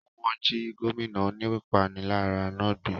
Wọ́n jí gómìnà oníwà ìpániláyà náà gbé